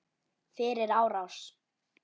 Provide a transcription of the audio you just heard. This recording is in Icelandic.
Fyrir árás?